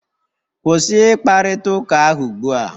Kwụsị ịkparịta ụka ahụ ugbu a!